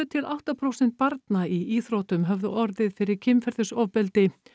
til átta prósent barna í íþróttum höfðu orðið fyrir kynferðisofbeldi